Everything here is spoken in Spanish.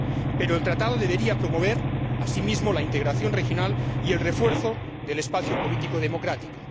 Pero el acuerdo debería promover, asimismo, la integración regional y el refuerzo del espacio político democrático.